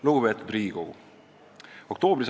Lugupeetud Riigikogu!